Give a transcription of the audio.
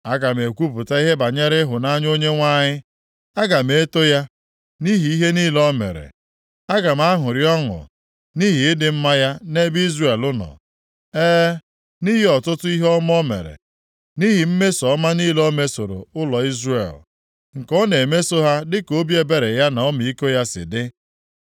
Aga m ekwupụta ihe banyere ịhụnanya Onyenwe anyị. Aga m eto ya nʼihi ihe niile o mere. Aga m aṅụrị ọṅụ nʼihi ịdị mma ya nʼebe Izrel nọ, e, nʼihi ọtụtụ ihe ọma o mere nʼihi mmeso ọma niile o mesoro ụlọ Izrel, nke ọ na-emeso ha dịka obi ebere ya na ọmịiko ya si dị.